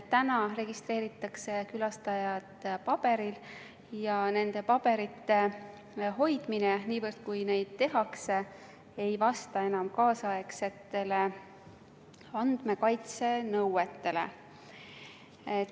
Täna registreeritakse külastajad paberil ja nende paberite hoidmine ei vasta enam praegustele andmekaitsenõuetele.